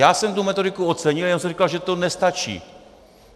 Já jsem tu metodiku ocenil, jenom jsem říkal, že to nestačí!